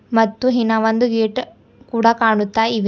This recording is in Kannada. ಮತ್ತು ಇನ್ನ ಒಂದು ಗೇಟ್ ಕೂಡ ಕಾಣುತ್ತಾ ಇದೆ.